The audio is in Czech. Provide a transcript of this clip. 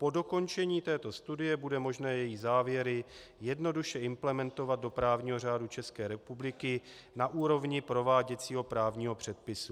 Po dokončení této studie bude možné její závěry jednoduše implementovat do právního řádu České republiky na úrovni prováděcího právního předpisu."